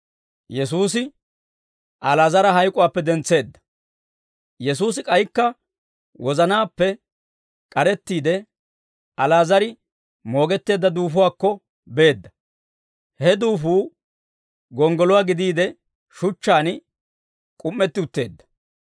Yesuusi k'aykka wozanaappe k'arettiide, Ali'aazar moogetteedda duufuwaakko beedda; he duufuu gonggoluwaa gidiide shuchchaan k'um"etti utteedda.